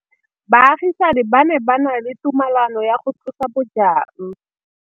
Baagisani ba ne ba na le tumalanô ya go tlosa bojang.